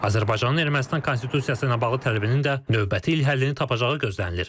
Azərbaycanın Ermənistan konstitusiyası ilə bağlı tələbinin də növbəti il həllini tapacağı gözlənilir.